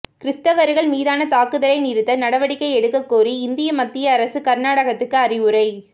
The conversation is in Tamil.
கிறிஸ்தவர்கள் மீதான தாக்குதலை நிறுத்த நடவடிக்கை எடுக்கக்கோரி இந்திய மத்திய அரசு கர்நாடகத்துக்கு அறிவுரை